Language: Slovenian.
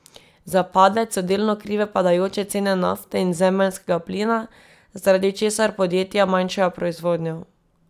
Za padec so delno krive padajoče cene nafte in zemeljskega plina, zaradi česar podjetja manjšajo proizvodnjo.